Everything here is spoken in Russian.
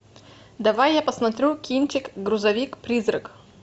давай я посмотрю кинчик грузовик призрак